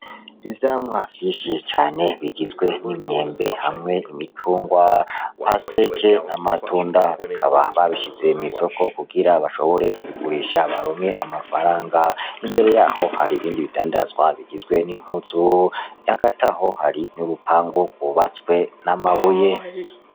Ivyamwa vyishiye cane bigizwe n'imyembe hamwe imicungwa pasteke n'amatunda bikaba babishize mw'isoko kugira bashobore kubigurisha baromwe amafaranga imbere yaho hari ibindi bidandazwa bigizwe n'impuzu yagataho hari n'urupangu kubatswe n'amabuye.